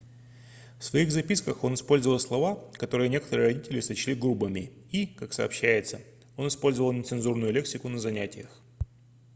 в своих записках он использовал слова которые некоторые родители сочли грубыми и как сообщается он использовал нецензурную лексику на занятиях